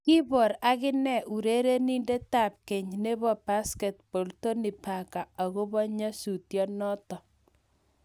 Koibor agine urerenindetab keny nebo Basketball Tony Parker akobo nyasutienoto